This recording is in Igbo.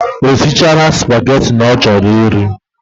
Osichana spaghetti ochoro iri